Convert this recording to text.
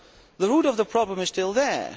The root of the problem is still there.